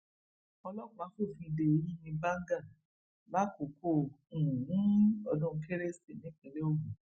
ọlọpàá fòfin de yìnyín bágà lákòókò um ọdún kérésì nípínlẹ ogun